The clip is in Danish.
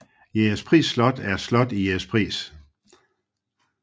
Jægerspris Slot er et slot i Jægerspris